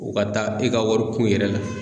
U ka taa e ka warikun yɛrɛ la.